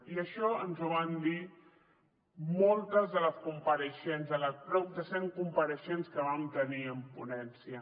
i això ens ho van dir moltes de les compareixents les prop de cent compareixents que vam tenir en ponència